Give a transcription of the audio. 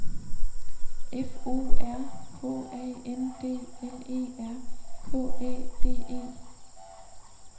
F O R H A N D L E R K Æ D E